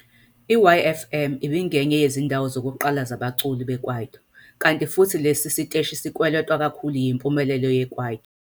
I-YFM ibingenye yezindawo zokuqala zabaculi beKwaito, kanti futhi lesi siteshi sikweletwa kakhulu yimpumelelo yeKwaito.